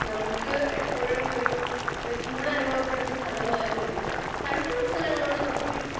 speaker 2 നമ്മുക്ക് എപ്പോഴും ഒരു ചൂട് അനുഭവപ്പെടുന്ന സ്ഥലമായതുകൊണ്ട് തണുപ്പുള്ള സ്ഥലങ്ങളോട് നമ്മുക്ക്